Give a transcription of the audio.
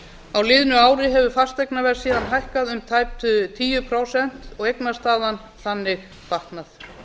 á liðnu ári hefur fasteignaverð síðan hækkað um tæp tíu prósent og eignastaðan þannig batnað